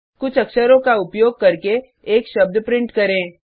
कुछ अक्षरों का उपयोग करके एक शब्द प्रिंट करें